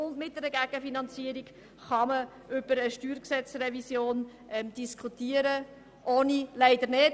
Mit einer Gegenfinanzierung kann man über eine StG-Revision diskutieren, ohne eine solche leider nicht.